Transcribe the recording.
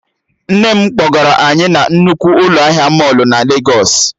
Nne m kpọgara anyị na nnukwu ụlọ ahịa mọlụ na Legos